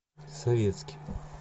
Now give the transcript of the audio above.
советский